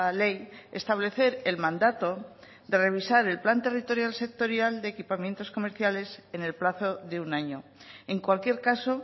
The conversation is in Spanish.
ley establecer el mandato de revisar el plan territorial sectorial de equipamientos comerciales en el plazo de un año en cualquier caso